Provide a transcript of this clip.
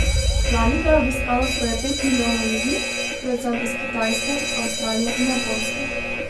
Lani ga je obiskalo skoraj pet milijonov ljudi, predvsem iz Kitajske, Avstralije in Japonske.